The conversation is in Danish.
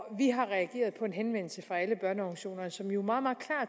vi har reageret på en henvendelse fra alle børneorganisationerne som jo meget meget